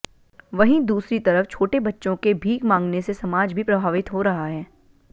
वहीं दूसरी तरफ छोटे बच्चों के भीख मांगने से समाज भी प्रभावित हो रहा है